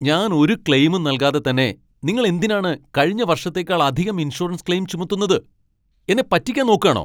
ഞാൻ ഒരു ക്ലെയിമും നൽകാതെ തന്നെ നിങ്ങൾ എന്തിനാണ് കഴിഞ്ഞ വർഷത്തേക്കാൾ അധികം ഇൻഷുറൻസ് ക്ലെയിം ചുമത്തുന്നത്? എന്നെ പറ്റിക്കാൻ നോക്കാണോ?